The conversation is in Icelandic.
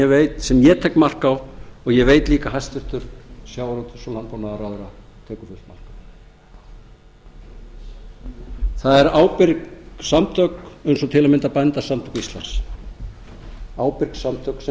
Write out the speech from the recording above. veit sem ég tek mark á og ég veit líka að hæstvirtur sjávarútvegs og landbúnaðarráðherra tekur fullt mark á það eru ábyrg samtök eins og til að mynda bændasamtök íslands ábyrg samtök sem